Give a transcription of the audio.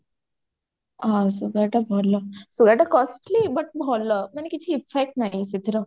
ହଁ sugar ଟା ଭଲ sugar ଟା ଟିକେ costly କିନ୍ତୁ ମାନେ କିଛି effect ନାଇ ସେଇଥିର